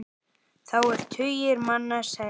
Þá eru tugir manna særðir.